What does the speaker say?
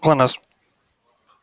глонассс